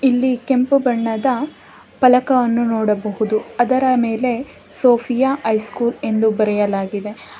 ಇಲ್ಲಿ ಕೆಂಪು ಬಣ್ಣದ ಫಲಕವನ್ನು ನೋಡಬಹುದು ಅದರ ಮೇಲೆ ಸೋಫಿಯಾ ಹೈಸ್ಕೂಲ್ ಎಂದು ಬರೆಯಲಾಗಿದೆ.